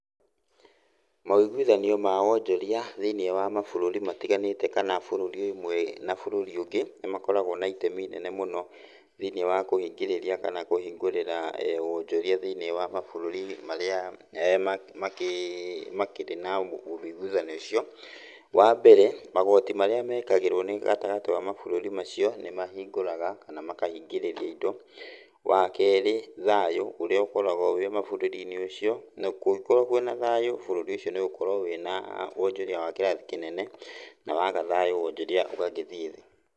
Mawũiguithanio ma wonjoria thĩiniĩ wa mabũrũri matiganĩte kana bũrũri ũmwe na bũrũri ũngĩ nĩ makoragwo na itemi inene mũno thĩinĩ wa kũhingĩrĩra kana kũhingũrĩra wonjoria thĩniĩ wa mabũrũri marĩa makĩrĩ na wũiguithanio ũcio. Wa mbere, magoti marĩa meekagĩrwo nĩ gatagatĩ wa mabũrũri macio nĩ mahingũraga kana makahingĩrĩria indo. Wa kerĩ, thayũ, ũrĩa ũkoragwo wĩ mabũrũri-inĩ ũcio, na kũgĩkoragwo na thayũ, bũrũri ũcio nĩ ũgũkorwo wĩna wonjoria wa kĩeo kĩnene, na waaga thayũ, wonjoria ũgagĩthiĩ thĩ.